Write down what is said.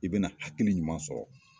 I bɛna hakili ɲuman sɔrɔ